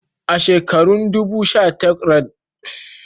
A shekarun 1980, an kulla abota a cikin unguwannin da aka ƙulla a Legas.